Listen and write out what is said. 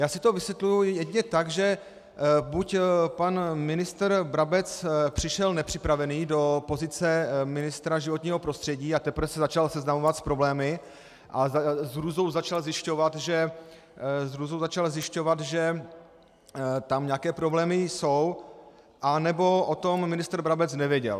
Já si to vysvětluji jedině tak, že buď pan ministr Brabec přišel nepřipravený do pozice ministra životního prostředí a teprve se začal seznamovat s problémy a s hrůzou začal zjišťovat, že tam nějaké problémy jsou, anebo o tom ministr Brabec nevěděl.